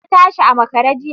Ta tashi a makare jiya.